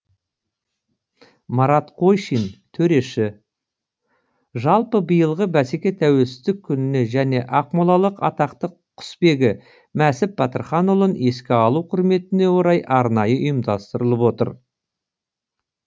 марат қойшин төреші жалпы биылғы бәсеке тәуелсіздік күніне және ақмолалық атақты құсбегі мәсіп батырханұлын еске алу құрметіне орай арнайы ұйымдастырылып отыр